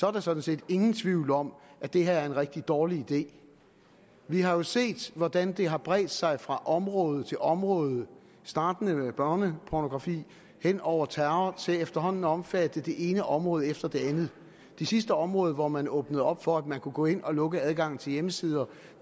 er der sådan set ingen tvivl om at det her er en rigtig dårlig idé vi har jo set hvordan det har bredt sig fra område til område startende med børnepornografi hen over terror til efterhånden at omfatte det ene område efter det andet det sidste område hvor man åbnede op for at man kunne gå ind og lukke adgangen til hjemmesider